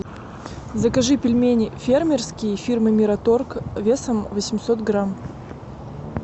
закажи пельмени фермерские фирмы мираторг весом восемьсот грамм